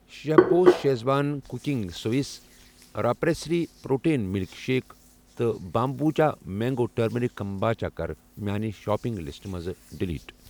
Chef boss schezwan cooking sauce, raw pressery protein milk shake تہٕ بامبوٗچا mango turmeric kombucha کَر میانہِ shopping لسٹہٕ منٛز ڈیلیٖٹ۔